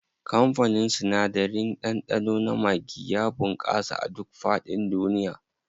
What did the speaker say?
Kamfanin sinadarin ɗanɗano na maggi ya bunƙasa a duk faɗin duniya.